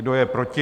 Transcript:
Kdo je proti?